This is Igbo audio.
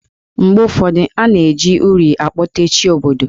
Mgbe ụfọdụ, a na-eji uri akpote Chi obodo.